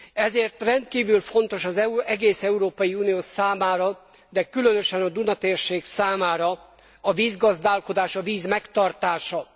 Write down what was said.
Ezért rendkívül fontos az egész Európai Unió számára, de különösen a Duna térség számára a vízgazdálkodás, a víz megtartása.